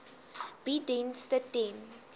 bied dienste ten